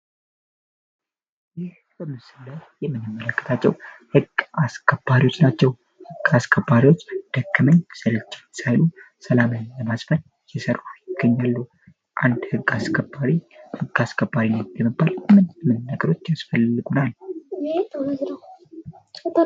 ይህ በምስሉ ላይ የምንመለከታቸው የህግ አስከባሪዎች ናቸው የህግ አስከባሪዎች ሌት ቀን ሳይሉ ሰላምን ለማስፈን እየሰሩ ይገኛሉ። አንድ የህግ አስከባሪ የህግ አስከባሪ ለመባል ምን ምን ነገሮች ያስፈልጉታል?